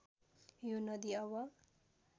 यो नदी अब